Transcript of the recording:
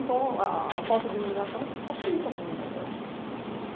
Então, a a falta de iluminação facilita a criminalidade.